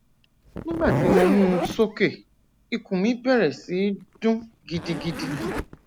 nigbati mo mu u soke ikun mi bẹrẹ si dun gidigidi